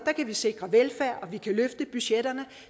kan vi sikre velfærden og vi kan løfte budgetterne